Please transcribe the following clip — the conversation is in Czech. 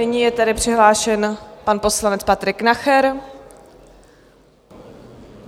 Nyní je tedy přihlášen pan poslanec Patrik Nacher.